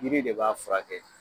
Jiri de b'a furakɛ